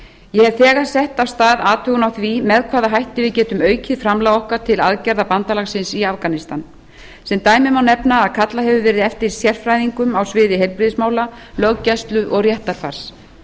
ég hef þegar sett af stað athugun á því með hvaða hætti við getum aukið framlag okkar til aðgerða bandalagsins í afganistan sem dæmi má nefna að kallað hefur verið eftir sérfræðingum á sviði heilbrigðismála löggæslu og réttarfars